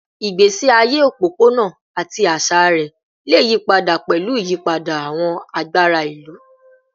Igbesi aye opopona ati aṣa rẹ le yipada pẹlu iyipada awọn agbara ilu